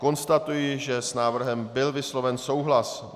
Konstatuji, že s návrhem byl vysloven souhlas.